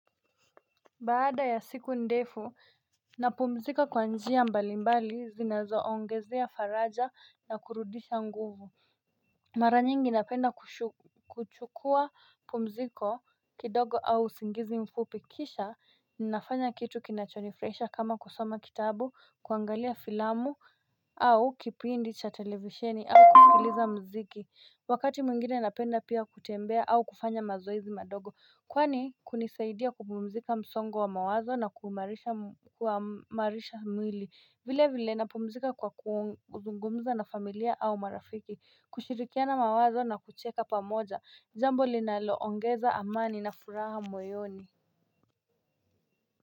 Baada ya siku ndefu napumzika kwa njia mbali mbali zinazoongezea faraja na kurudisha nguvu Mara nyingi napenda kuchukua pumziko kidogo au usingizi mfupi kisha Ninafanya kitu kinachonifurahisha kama kusoma kitabu, kuangalia filamu au kipindi cha televisheni au kusikiliza mziki wakati mwingine napenda pia kutembea au kufanya mazoezi madogo kwani kunisaidia kupumzika msongo wa mawazo na kuimarisha mwili vile vile napumzika kwa kuzungumza na familia au marafiki kushirikiana mawazo na kucheka pamoja jambo linaloongeza amani na furaha moyoni.